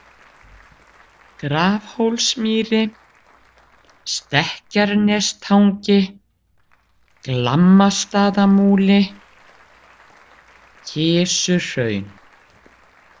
Grafhólsmýri, Stekkjarnestangi, Glammastaðamúli, Kisuhraun